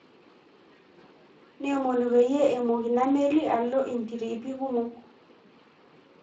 Neomonu peyie emok ina meli alo intiriipi kumok